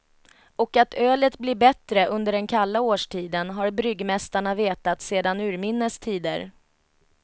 Och att ölet blir bättre under den kalla årstiden har bryggmästarna vetat sedan urminnes tider.